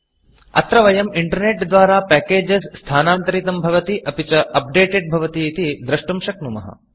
अत्र वयं Internetइण्टर्नेट् द्वारा Packagesपेकेजस् स्थानान्तरितं भवति अपि च Updatedअप्लोडेड् भवति इति द्रष्टुं शक्नुमः